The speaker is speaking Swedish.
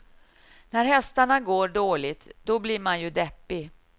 När hästarna går dåligt, då blir man ju deppig.